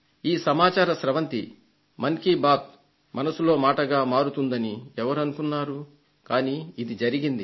ఈ సమాచార స్రవంతి మన్ కీ బాత్ మనసులో మాటగా మారుతుందని ఎవరు అనుకున్నారు కానీ ఇది జరిగింది